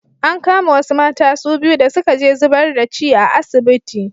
An kama wasu mata su biyu da suka je zibar da ci a asibiti.